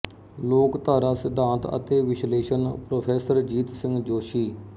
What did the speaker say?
ਲੋਕਧਾਰਾ ਸਿਧਾਂਤ ਅਤੇ ਵਿਸ਼ਲੇਸ਼ਣ ਪ੍ਰੋ ਜੀਤ ਸਿੰਘ ਜੋਸ਼ੀ